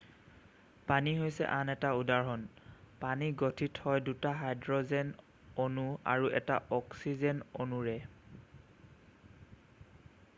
পানী হৈছে আন এটা উদাহৰণ পানী গঠিত হয় দুটা হাইড্ৰ'জেন অণু আৰু এটা অক্সিজেন অণুৰে